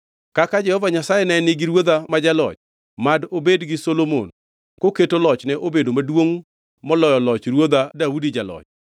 Kaka Jehova Nyasaye ne nigi ruodha ma jaloch, mad obed gi Solomon koketo lochne obedo maduongʼ moloyo loch ruodha Daudi Jaloch!”